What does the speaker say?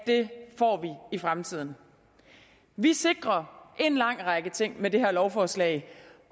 det i fremtiden vi sikrer en lang række ting med det her lovforslag